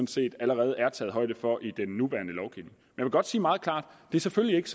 set allerede er taget højde for i den nuværende lovgivning jeg vil godt sige meget klart at det selvfølgelig ikke